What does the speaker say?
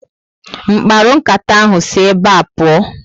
Mkparu nkata ahụ si ébé pụọ